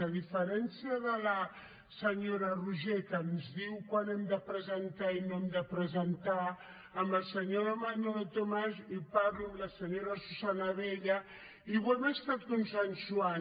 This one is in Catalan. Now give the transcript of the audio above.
a diferència de la senyora roigé que ens diu quan hem de presentar i no hem de presentar amb el senyor manolo tomàs hi parlo amb la senyora susanna abella i ho hem estat consensuant